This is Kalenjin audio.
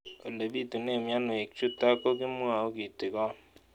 Ole pitune mionwek chutok ko kimwau kitig'�n